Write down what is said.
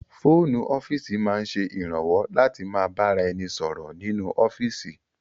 Fóònù ọ́fíìsì máa ń ṣe ìrànwọ́ láti ma bá ra ẹni sọ̀rọ̀ nínú ọ́fíìsì